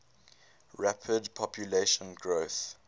rapid population growth